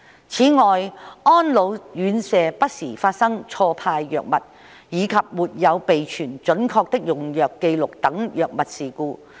此外，安老院舍不時發生錯派藥物，以及沒有備存準確的用藥紀錄等藥物事故。